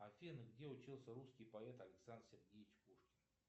афина где учился русский поэт александр сергеевич пушкин